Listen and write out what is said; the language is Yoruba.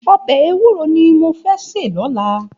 Òbè éwùró ni mó fè sé lòlá